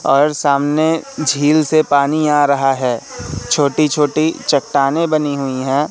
और सामने झील से पानी आ रहा है छोटी-छोटी चट्टानें बनी हुई हैं।